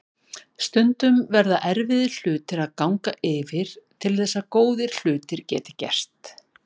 Stundum verða erfiðir hlutir að ganga yfir til þess að góðir hlutir geti gerst.